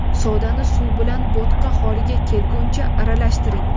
Sodani suv bilan bo‘tqa holiga kelguncha aralashtiring.